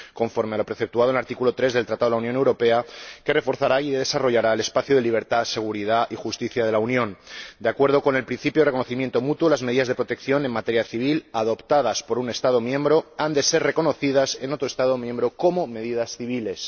Conforme a lo preceptuado en el artículo 3 del Tratado de la Unión Europea, que reforzará y desarrollará el espacio de libertad, seguridad y justicia de la Unión, de acuerdo con el principio de reconocimiento mutuo, las medidas de protección en materia civil adoptadas por un Estado miembro han de ser reconocidas en otro Estado miembro como medidas civiles.